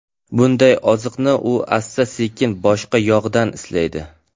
Bunday oziqni u asta-sekin boshqa yoqdan izlaydi.